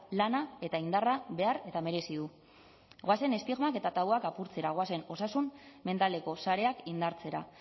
lana eta indarra behar eta merezi du goazen estigmak eta tabuak apurtzera goazen osasun mentaleko sareak indartzera